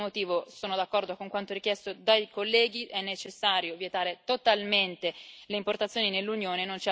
Per questo motivo, sono d'accordo con quanto richiesto dai colleghi è necessario vietare totalmente le importazioni nell'Unione.